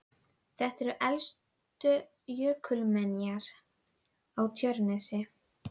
Frá þjóðfræðilegu sjónarmiði skiptir það heldur ekki mestu máli.